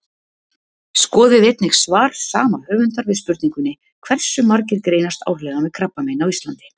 Skoðið einnig svar sama höfundar við spurningunni Hversu margir greinast árlega með krabbamein á Íslandi?